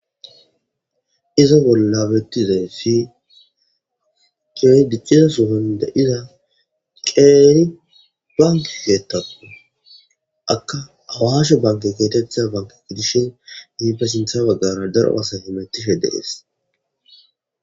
iza bollabettizay fi qeer dicciza suhun da7ida qeeri banke heetappu akka awashe banke geetetha banke gdishin mipasintha baggara daro asaye mettishe dees